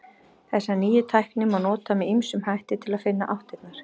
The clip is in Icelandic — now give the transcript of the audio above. Þessa nýju tækni má nota með ýmsum hætti til að finna áttirnar.